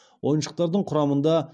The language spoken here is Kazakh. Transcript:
ойыншықтардың құрамында